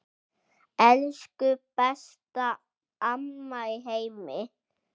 Elsku besta amma í heimi.